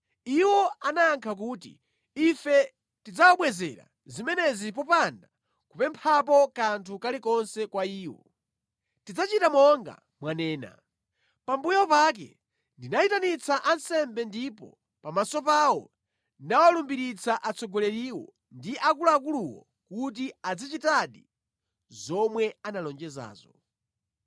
Iwo anayankha kuti, “Ife tidzawabwezera zimenezi popanda kupemphapo kanthu kalikonse kwa iwo. Tidzachita monga mwanena.” Pambuyo pake ndinayitanitsa ansembe ndipo pamaso pawo ndinawalumbiritsa atsogoleriwo ndi akuluakuluwo kuti adzachitadi zomwe analonjezazo.